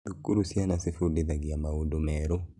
Thukuru ciana cĩfundithagĩa maũndu meru